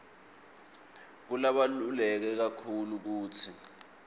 kubaluleke kakhulu kutsi